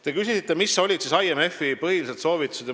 Te küsisite, mis olid IMF-i põhilised soovitused.